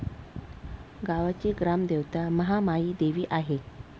गावाची ग्रामदेवता महामाईदेवी आहे.